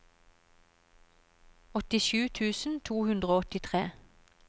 åttisju tusen to hundre og åttitre